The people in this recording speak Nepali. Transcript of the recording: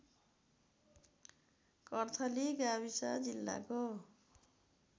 कर्थली गाविस जिल्लाको